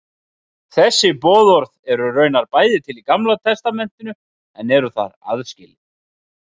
Þessi boðorð eru raunar bæði til í Gamla testamentinu en eru þar aðskilin.